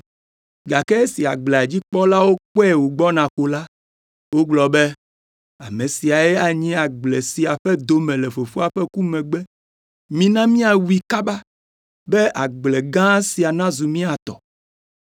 “Gake esi agblea dzi kpɔlawo kpɔe wògbɔna ko la, wogblɔ be, Ame siae anyi agble sia ƒe dome le fofoa ƒe ku megbe. Mina míawui kaba, be agble gã sia nazu mía tɔ!”